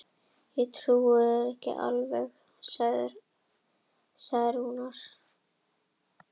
Það eina sem ég vissi var að hún var hjá mér.